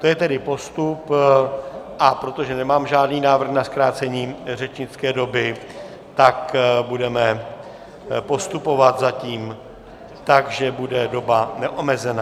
To je tedy postup, a protože nemám žádný návrh na zkrácení řečnické doby, tak budeme postupovat zatím tak, že bude doba neomezená.